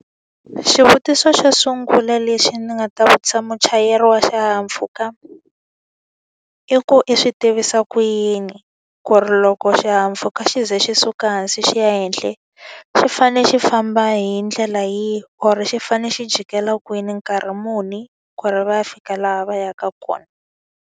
Xivutiso xo sungula lexi ni nga ta vutisa muchayeri wa xihahampfhuka, i ku i swi tivisa ku yini ku ri loko xihahampfhuka xi ze xi suka hansi xi ya henhla xi fane xi famba hi ndlela yihi or xi fanele xi jikela kwini nkarhi muni ku ri va ya fika laha va yaka kona?